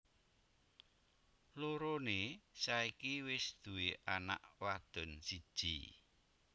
Loroné saiki wis duwé anak wadon siji